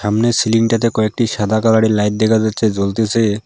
সামনের সিলিংটাতে কয়েকটি সাদা কালারের লাইট দেখা যাচ্ছে জ্বলতেসে।